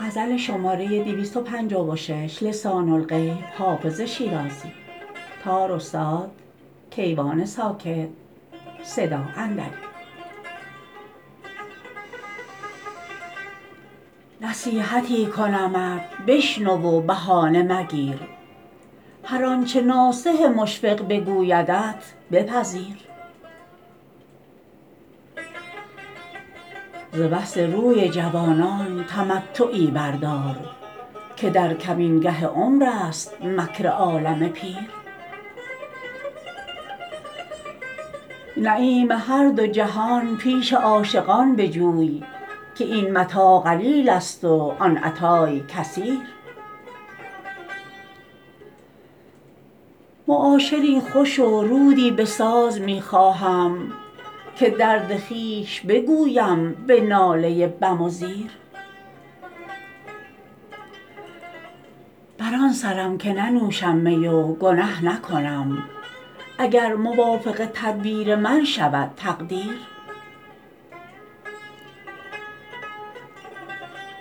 نصیحتی کنمت بشنو و بهانه مگیر هر آنچه ناصح مشفق بگویدت بپذیر ز وصل روی جوانان تمتعی بردار که در کمینگه عمر است مکر عالم پیر نعیم هر دو جهان پیش عاشقان بجوی که این متاع قلیل است و آن عطای کثیر معاشری خوش و رودی بساز می خواهم که درد خویش بگویم به ناله بم و زیر بر آن سرم که ننوشم می و گنه نکنم اگر موافق تدبیر من شود تقدیر